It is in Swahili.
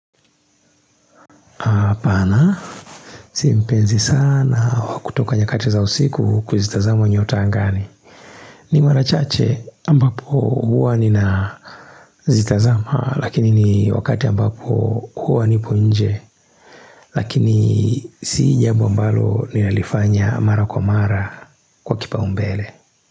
Pana, si mpenai sana wa kutoka nyakati za usiku kuzitazama nyota angani ni marachache ambapo Huwa ninazitazama Lakini ni wakati ambapo Huwa nipo nje Lakini si jambo ambalo Ninalifanya mara kwa mara Kwa kipa umbele.